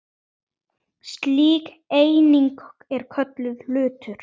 Slík eining er kölluð hlutur.